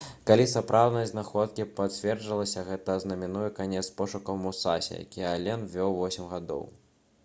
калі сапраўднасць знаходкі пацвердзіцца гэта азнаменуе канец пошукаў «мусасі» якія ален вёў восем гадоў